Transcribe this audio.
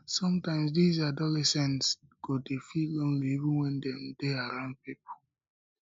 sometimes dese adolescents go dey feel lonely even wen dem dey around pipo